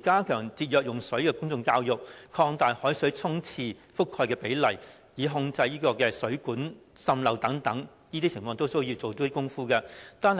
加強節約用水的公眾教育，擴大海水沖廁覆蓋的比例，並控制水管滲漏等問題，這些均需要下工夫。